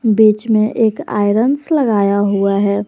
बीच में एक आयरन्स लगाया हुआ है।